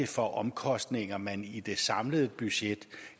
for omkostninger man i det samlede budget